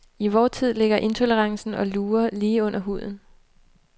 I vor tid, ligger intolerancen og lurer lige under huden.